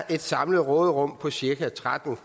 et samlet råderum på cirka tretten